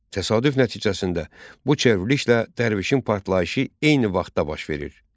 Təsadüf nəticəsində bu çevrilişlə dərvişin partlayışı eyni vaxtda baş verir.